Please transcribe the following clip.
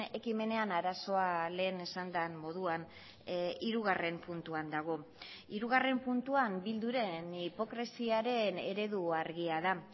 ekimenean arazoa lehen esan den moduan hirugarren puntuan dago hirugarren puntuan bilduren hipokresiaren eredu argia da